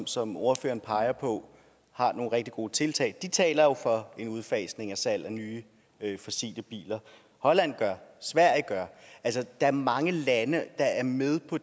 som ordføreren peger på har nogle rigtig gode tiltag de taler jo for en udfasning af salg af nye fossile biler holland gør sverige gør altså der er mange lande der er med på